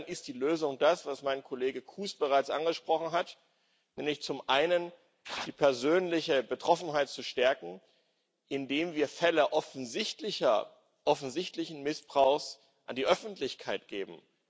Insofern ist die Lösung das, was mein Kollege Kuhs bereits angesprochen hat, nämlich die persönliche Betroffenheit zu stärken, indem wir Fälle offensichtlichen Missbrauchs an die Öffentlichkeit geben.